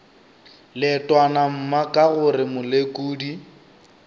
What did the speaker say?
leetwana mma ka gore molekodi